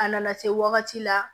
A nana se wagati la